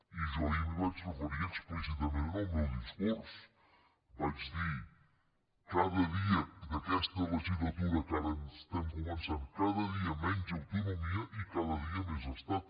i jo ahir m’hi vaig referir explícitament en el meu discurs vaig dir cada dia d’aquesta legislatura que ara estem començant cada dia menys autonomia i cada dia més estat